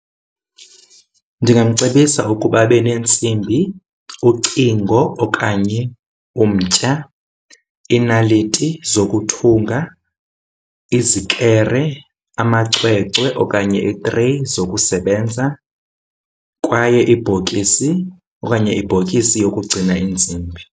Ndingamcebisa ukuba abe neentsimbi, ucingo okanye umtya, iinaliti zokuthunga, izikere, amacwecwe okanye iitreyi zokusebenza, kwaye iibhokisi okanye ibhokisi yokugcina iintsimbi.